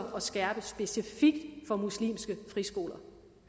skærpe specifikt det for muslimske friskoler